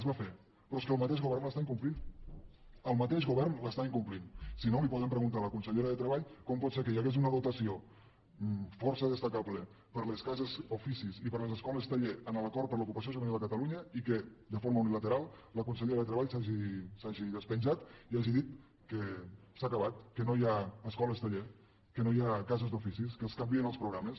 es va fer però és que el mateix govern l’està incomplint el mateix govern l’està incomplint si no li poden preguntar a la consellera de treball com pot ser que hi hagués una dotació força destacable per a les cases d’oficis i per a les escoles taller en l’acord per a l’ocupació juvenil a catalunya i que de forma unilateral la consellera de treball s’hagi despenjat i hagi dit que s’ha acabat que no hi ha escoles taller que no hi ha cases d’oficis que es canvien els programes